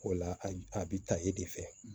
O la a bɛ ta e de fɛ